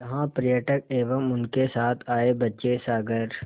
जहाँ पर्यटक एवं उनके साथ आए बच्चे सागर